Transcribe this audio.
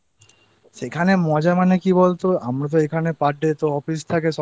সেখানে মজা মানে কি বলতো? আমার এখানে তো এখানে Perday Office থাকে সকাল